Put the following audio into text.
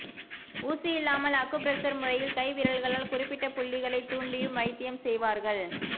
ஊசி இல்லாமல் acupressure முறையில் கை விரல்களால் குறிப்பிட்ட புள்ளிகளை தூண்டியும் வைத்தியம் செய்வார்கள்